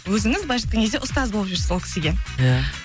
өзіңіз былайынша айтқан кезде ұстаз болып жүрсіз ол кісіге иә